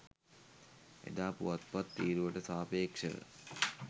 එදා පුවත්පත් තීරුවට සාපේක්ෂව